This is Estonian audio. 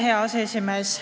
Hea aseesimees!